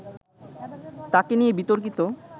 তাকে নিয়ে বিতর্কিত